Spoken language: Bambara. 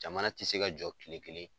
Jamana tɛ se ka jɔ kile kelen.